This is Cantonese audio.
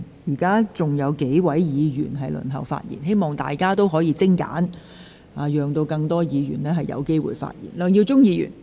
現在仍有數位議員輪候發言。請大家發言盡量精簡，讓更多議員有機會發言。